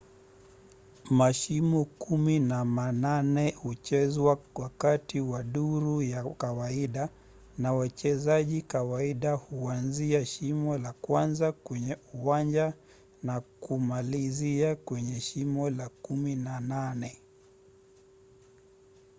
mashimo kumi na manane huchezwa wakati wa duru ya kawaida na wachezaji kawaida huanzia shimo la kwanza kwenye uwanja na kumalizia kwenye shimo la kumi na nane